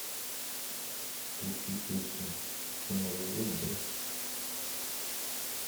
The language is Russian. включи песню это новый год да